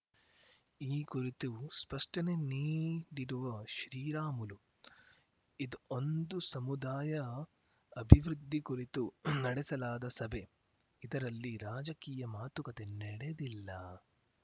ಈ ಕುರಿತು ಸ್ಪಷ್ಟನೆ ನೀಡಿರುವ ಶ್ರೀರಾಮುಲು ಇದು ಒಂದು ಸಮುದಾಯ ಅಭಿವೃದ್ಧಿ ಕುರಿತು ನಡೆಸಲಾದ ಸಭೆ ಇದರಲ್ಲಿ ರಾಜಕೀಯ ಮಾತುಕತೆ ನಡೆದಿಲ್ಲ